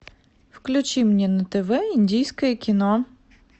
включи мне на тв индийское кино